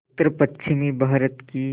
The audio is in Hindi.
उत्तरपश्चिमी भारत की